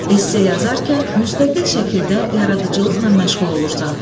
Esse yazarkən müstəqil şəkildə yaradıcılıqla məşğul olursan.